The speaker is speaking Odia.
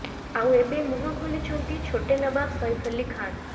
ଆଉ ଏବେ ମୁହଁ ଖୋଲିଛନ୍ତି ଛୋଟେ ନବାବ୍ ସୈଫ୍ ଅଲ୍ଲୀ ଖାନ୍